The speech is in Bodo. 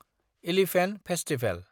elephant festival